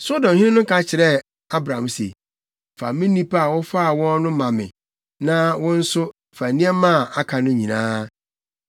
Sodomhene no ka kyerɛɛ Abram se, “Fa me nnipa a wofaa wɔn no ma me na wo nso, fa nneɛma a aka no nyinaa.”